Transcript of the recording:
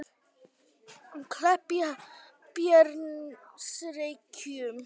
Kleppjárnsreykjum